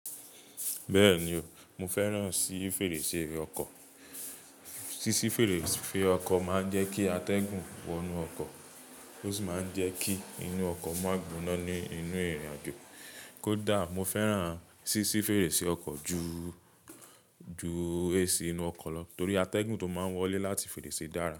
Bẹ́ẹ̀ni o, mo fẹ́ràn síí fèrèsé ọkọ̀. Sísí fèrèsé ọkọ̀ máa ń jẹ́ kí atẹ́gùn wọ inú ọkọ̀, ó sì máa ń jẹ́ kí inú ọkọ̀ ma gbóná ní inú ìrìnàjò. Kódà mo fẹ́ràn sísí fèrèsé ọkọ̀ ju, ju AC inú ọkọ̀ lọ torí atẹ́gùn tó máa ń wọlé láti fèrèsé dára.